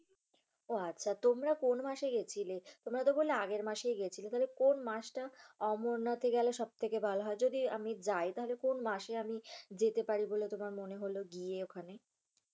উহ আচ্ছা। তোমরা কোন মাসে গিয়েছিলে? তোমরাতো বললে আগের মাসেই গিয়েছিলে। তাহলে কোন মাসটা অমরনাথে গেলে সব থেকে ভালো হয়। যদি আমি যাই তাহলে কোন মাসে আমি যেতে পারি বলে তোমার মনে হলো গিয়ে ওখানে?